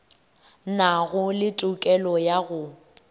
nago le tokelo ya go